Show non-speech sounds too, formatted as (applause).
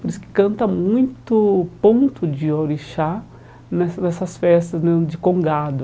Por isso que canta muito o ponto de orixá nessas nessas festas (unintelligible) de congado.